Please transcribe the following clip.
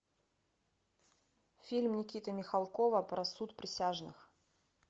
фильм никиты михалкова про суд присяжных